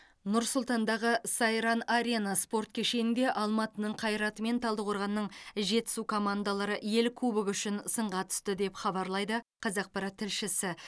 нұр сұлтандағы сайран арена спорт кешенінде алматының қайраты мен талдықорғанның жетісу командалары ел кубогы үшін сынға түсті деп хабарлайды қазақпарат тілшісі